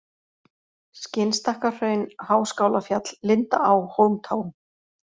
Skinnstakkahraun, Háskálafjall, Lindaá, Hólmtá